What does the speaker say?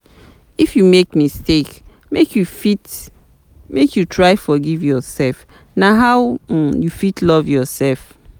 If you make mistake, make you try forgive yourself, na how um you fit love yoursef.